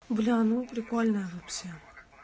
бля ну прикольно вообще